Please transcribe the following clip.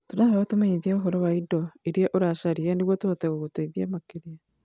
Tũrahoya ũtũmenyithie ũhoro wa indo iria ũracaria nĩguo tũhote gũgũteithia makĩria.